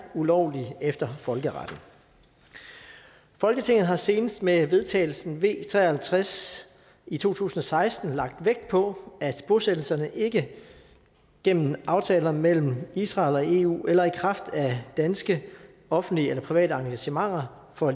ulovlige efter folkeretten folketinget har senest med vedtagelsen v tre og halvtreds i to tusind og seksten lagt vægt på at bosættelserne ikke gennem aftaler mellem israel og eu eller i kraft af danske offentlige eller private engagementer får